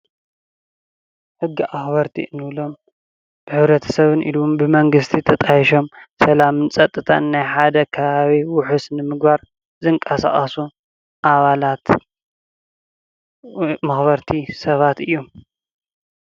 ሕጊ ኣክበርቲ እንብሎም ብሕብረተሰብን ኢሉ እውን ብመንግስቲ ተጣይሾም ሰላምን ፀፅታን ናይ ሓደ ካባቢ ውሕስ ንምግባር ዝንቀሳቀሱ ኣባላት መክበርቲ ሰባት እዮም፡፡